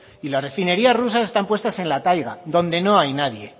y las refinerías rusas están puestas en la taiga donde no hay nadie